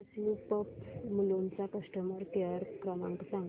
SU pumps Mulund चा customer care क्रमांक सांगा